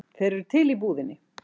Þeir eru til í búðinni.